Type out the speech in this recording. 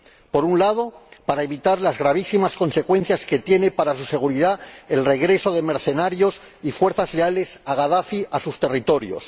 Por un lado, para evitar las gravísimas consecuencias que tienen para su seguridad el regreso de mercenarios y la huida de las fuerzas leales a Gadafi a sus territorios